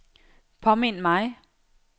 påmind mig